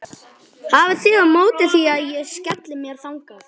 Hafið þið á móti því að ég skelli mér þangað?